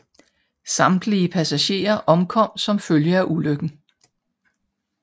Samtlige passagerer omkom som følge af ulykken